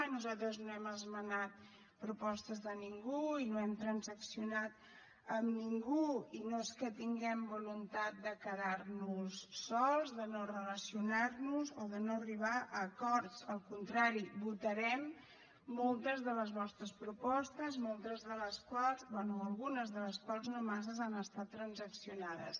nosaltres no hem esmenat propostes de ningú i no hem transaccionat amb ningú i no és que tinguem voluntat de quedarnos sols de no relacionarnos o de no arribar a acords al contrari votarem moltes de les vostres propostes moltes de les quals bé algunes de les quals no masses han estat transaccionades